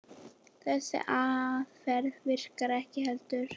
Þessi aðferð virkar ekki heldur.